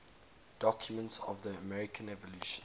documents of the american revolution